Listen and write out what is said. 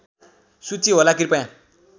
सूची होला कृपया